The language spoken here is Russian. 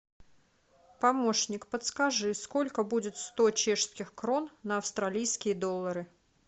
помощник подскажи сколько будет сто чешских крон на австралийские доллары